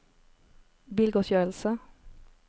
bilgodtgjørelse